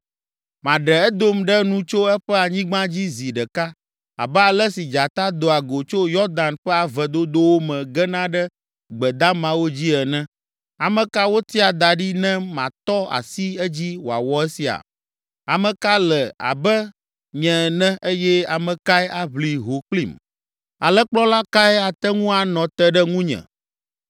“Maɖe Edom ɖe nu tso eƒe anyigba dzi zi ɖeka, abe ale si dzata doa go tso Yɔdan ƒe ave dodowo me gena ɖe gbe damawo dzi ene. Ame ka wotia da ɖi ne matɔ asi edzi wòawɔ esia? Ame ka le abe nye ene eye ame kae aʋli ho kplim? Alẽkplɔla kae ate ŋu anɔ te ɖe nunye?”